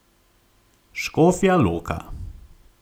Škofja Loka.